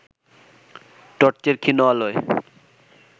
টর্চের ক্ষীণ আলোয়